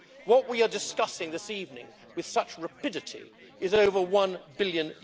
What we are discussing this evening with such rapidity is over EUR 1 billion.